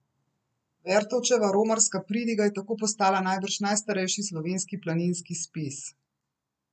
Vertovčeva romarska pridiga je tako postala najbrž najstarejši slovenski planinski spis.